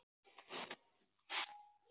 Látum á það reyna!